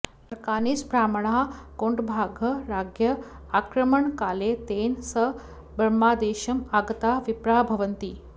Arakanese ब्राह्मणाः कोन्भाङ्ग् राज्ञः आक्रमणकाले तेन सह बर्मादेशम् आगताः विप्राः भवन्ति